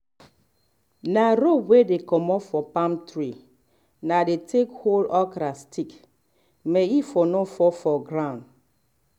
na um rope wey comot for palm tree na dey take hold okra stick may e for no fall for ground